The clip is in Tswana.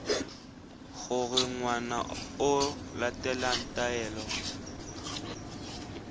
gore ngwana o latela taelo